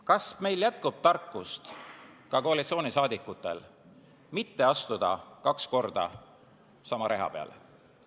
Kas meil jätkub tarkust, ka koalitsiooni liikmetel, mitte astuda kaks korda sama reha peale?